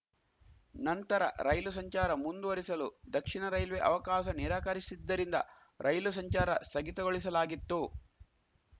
ನಂತರ ರೈಲು ಸಂಚಾರ ಮುಂದುವರಿಸಲು ದಕ್ಷಿಣ ರೈಲ್ವೆ ಅವಕಾಸ ನಿರಾಕರಿಸಿದ್ದರಿಂದ ರೈಲು ಸಂಚಾರ ಸ್ಥಗಿತಗೊಳಿಸಲಾಗಿತ್ತು